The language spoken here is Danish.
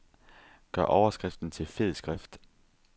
Gør overskriften til fed skrift.